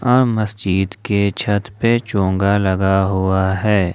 अ मस्जिद के छत पे चोंगा लगा हुआ है।